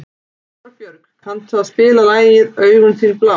Torbjörg, kanntu að spila lagið „Augun þín blá“?